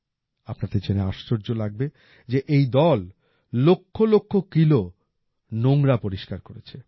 আপনাদের জেনে আর্শয্য লাগবে যে এই দল লক্ষ লক্ষ কিলো নোংরা পরিষ্কার করেছে